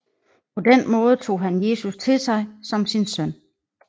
På den måde tog han Jesus til sig som sin søn